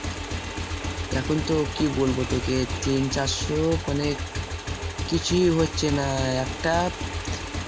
এখন তো কি বলবো তোকে তিন চারশো মানে কিছুই হচ্ছে না একটা